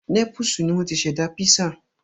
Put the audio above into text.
Népúsù ni wọ́n ti ṣẹ̀dá písà